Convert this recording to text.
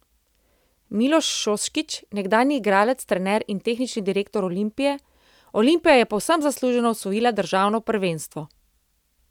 Miloš Šoškić, nekdanji igralec, trener in tehnični direktor Olimpije: 'Olimpija je povsem zasluženo osvojila državno prvenstvo.